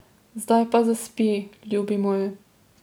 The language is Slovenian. Zdaj pa zaspi, ljubi moj.